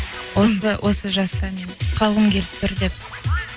осы осы жаста мен қалғым келіп тұр деп